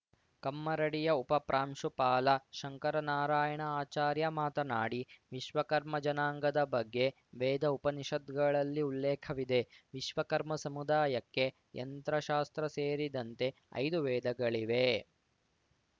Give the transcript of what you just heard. ಕಮ್ಮರಡಿಯ ಉಪ ಪ್ರಾಂಶುಪಾಲ ಶಂಕರನಾರಾಯಣ ಆಚಾರ್ಯ ಮಾತನಾಡಿ ವಿಶ್ವಕರ್ಮ ಜನಾಂಗದ ಬಗ್ಗೆ ವೇದ ಉಪನಿಷತ್ತುಗಳಲ್ಲಿ ಉಲ್ಲೇಖವಿದೆ ವಿಶ್ವಕರ್ಮ ಸಮುದಾಯಕ್ಕೆ ಯಂತ್ರಶಾಸ್ತ್ರ ಸೇರಿದಂತೆ ಐದು ವೇದಗಳಿವೆ